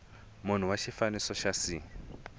munhu wa xifaniso xa c